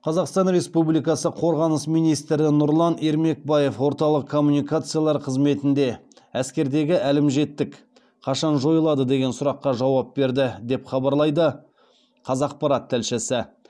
қазақстан республикасы қорғаныс министрі нұрлан ермекбаев орталық коммуникациялар қызметінде әскердегі әлімжеттік қашан жойылады деген сұраққа жауап берді деп хабарлайды қазақпарат тілшісі